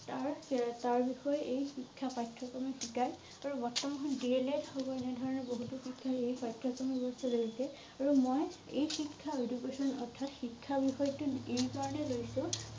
তাৰহেতাৰ বিষয়ে এই শিক্ষা পাঠ্যক্ৰমে শিকাই আৰু বৰ্তমান DLED হব আৰু এনে ধৰণৰ বহুতো শিক্ষা এই পাঠ্যক্ৰমত আৰু মই এই শিক্ষা education অৰ্থাৎ শিক্ষা বিষয় টো এই কাৰণে লৈছোঁ